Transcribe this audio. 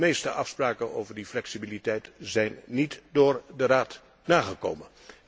De meeste afspraken over de flexibiliteit zijn niet door de Raad nagekomen.